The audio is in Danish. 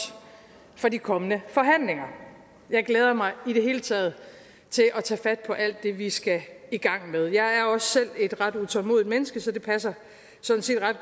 for de kommende forhandlinger jeg glæder mig i det hele taget til at tage fat på alt det vi skal i gang med jeg er også selv et ret utålmodigt menneske så det passer sådan set ret